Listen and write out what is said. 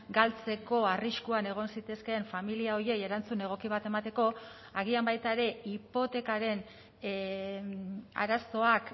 galtzeko arriskuan egon zitezkeen familia horiei erantzun egoki bat emateko agian baita ere hipotekaren arazoak